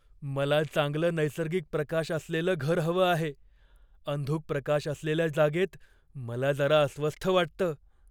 "मला चांगलं नैसर्गिक प्रकाश असलेलं घर हवं आहे, अंधुक प्रकाश असलेल्या जागेत मला जरा अस्वस्थ वाटतं."